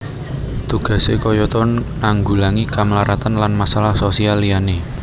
Tugasé kayata nanggulangi kemlaratan lan masalah sosial liyané